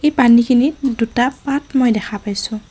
পানীখিনিত দুটা পাত মই দেখা পাইছোঁ।